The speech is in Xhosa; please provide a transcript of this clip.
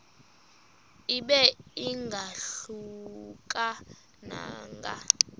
ibe ingahluka nanga